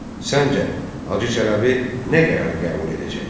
Səncə, Hacı Çələbi nə qərar qəbul edəcək?